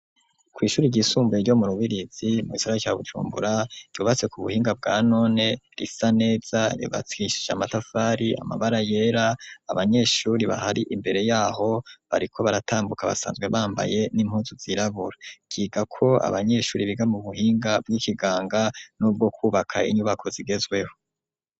kw' ishure ryisumbure ryo mu rubirizi mu gisagara ca Bujumbura ryubatse ku buhinga bwa none, risa neza ryubakishije amatafari, amabara yera abanyeshure bahari imbere yaho bariko baratambuka basanzwe bambaye n'impunzu zirabura, ryigako abanyeshure biga mu buhinga bw'ikiganga n'ubwo kwubaka inyubako zigezweho.